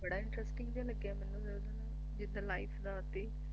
ਬੜਾ Interesting ਜਿਹਾ ਲੱਗਿਆ ਮੈਨੂੰ ਜਿਦਾਂ ਲਾਈਟ ਰਾਤੀ